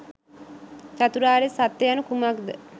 චතුරාර්ය සත්‍ය යනු කුමක්ද